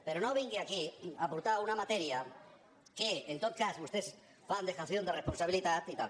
però no vingui aquí a portar una matèria en què en tot cas vostès fan dejaciónponsabilitat i tal